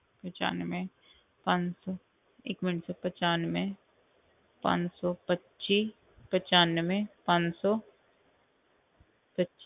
ਪਚਾਨਵੇਂ ਪੰਜ ਸੌ ਇੱਕ ਮਿੰਟ sir ਪਚਾਨਵੇਂ ਪੰਜ ਸੌ ਪੱਚੀ ਪਚਾਨਵੇਂ ਪੰਜ ਸੌ ਪੱਚੀ